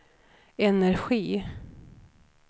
energi